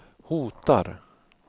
hotar